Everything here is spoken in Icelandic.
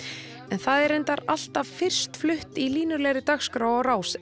en er reyndar alltaf fyrst flutt í línulegri dagskrá á Rás